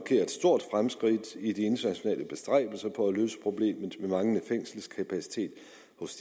et stort fremskridt i de internationale bestræbelser på at løse problemet med manglende fængselskapacitet